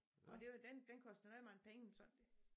Og det var den den kostede noget mange penge så det